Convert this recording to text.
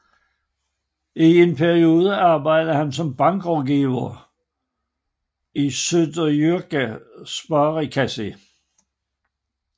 I en periode arbejdede han som bankrådgiver i Suðuroyar Sparikassi